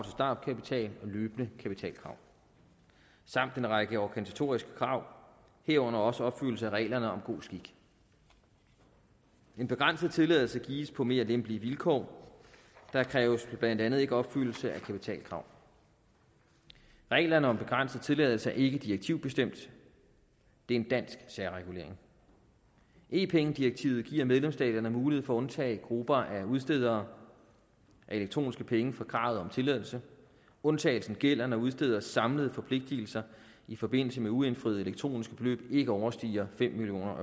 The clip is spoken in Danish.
startkapital og løbende kapitalkrav samt en række organisatoriske krav herunder også opfyldelse af reglerne om god skik en begrænset tilladelse gives på mere lempelige vilkår der kræves blandt andet ikke opfyldelse af kapitalkrav reglerne om begrænset tilladelse er ikke direktivbestemt det er en dansk særregulering e penge direktivet giver medlemsstaterne mulighed for at undtage grupper af udstedere af elektroniske penge fra kravet om tilladelse undtagelsen gælder når udsteders samlede forpligtigelser i forbindelse med uindfriede elektroniske beløb ikke overstiger fem million